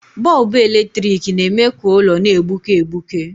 Bọlbụ eletrik na-eme ka ụlọ na-egbuke egbuke.